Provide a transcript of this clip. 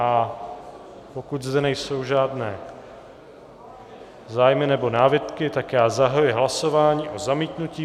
A pokud zde nejsou žádné zájmy nebo námitky, tak já zahajuji hlasování o zamítnutí.